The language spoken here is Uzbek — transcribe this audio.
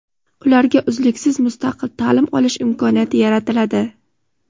ularga uzluksiz mustaqil ta’lim olish imkoniyati yaratiladi;.